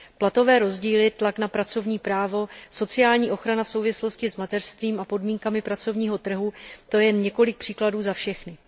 Platové rozdíly, tlak na pracovní právo, sociální ochrana v souvislosti s mateřstvím a podmínkami pracovního trhu, to je jen několik příkladů za všechny.